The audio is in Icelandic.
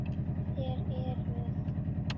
Þér eruð?